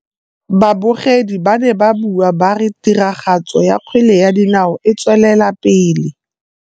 Babogedi ba ne ba bua ba re tiragatsô ya kgwele ya dinaô e tswelela pele.